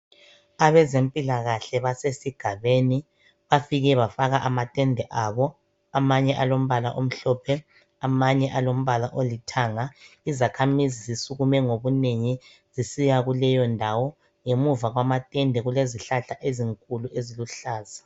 Abezempilakahle basesigabeni bafike bafaka amatende abo. Amanye alombala omhlophe, amanye alombala olithanga. Izakhamizi zisukume ngobunengi zisiya kuleyondawo. Ngemuva kwamatende kulezihlahla ezinkulu eziluhlaza.